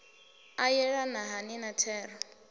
a yelana hani na thero